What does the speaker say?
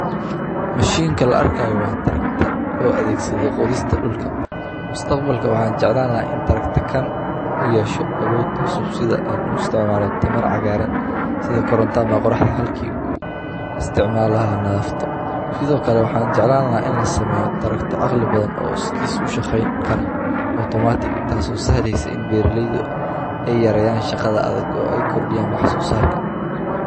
Machine ka la arka waa tractor loo adeegsado qoodista dhulka. Mustaqbalka waxaan jeclaan in tractor kan u yeesho awood cusub sida ay u isticmaalaya tamar cagaaran sida koronta ama qoraxad halki uu isticmaalaha naafto. Sidoo kale waxaan jeclaan in la sameeyo tractor caqli badan oo iskiis u shaqayn kara automatic taasi oo saadhaysa in biirleydu ay yarayaan shaqada adag oo ay kordhiyaan wax soo saarka.